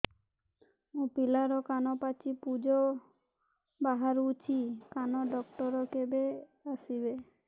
ମୋ ପିଲାର କାନ ପାଚି ପୂଜ ବାହାରୁଚି କାନ ଡକ୍ଟର କେବେ ଆସିବେ